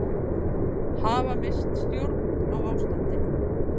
Hafa misst stjórn á ástandinu